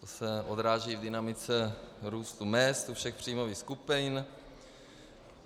To se odráží v dynamice růstu mezd u všech příjmových skupin.